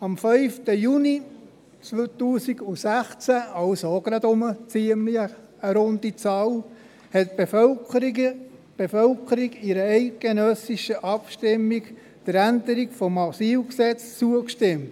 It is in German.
Am 5. Juni 2016 – auch wieder eine ziemlich runde Zahl – stimmte die Bevölkerung in einer eidgenössischen Abstimmung der Änderung des Asylgesetzes (AsylG) zu.